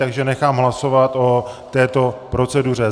Takže nechám hlasovat o této proceduře.